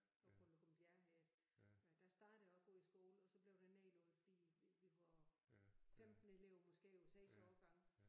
Oppe på Løgum Bjerge hed det. Øh der startede jeg oppe ude i skole og så blev det nedlagt fordi vi var 15 elever måske på 6 årgange